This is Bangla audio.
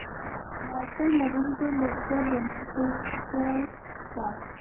মাইকেল মধুসূদন দত্তের বংশ পরিচয় দাও।